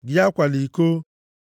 Gị akwala iko.